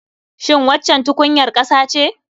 Shin waccan tukunyar ƙasa ce?